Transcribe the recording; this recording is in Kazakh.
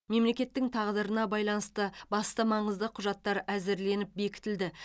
мемлекеттің тағдырына байланысты басты маңызды құжаттар әзірленіп бекітілді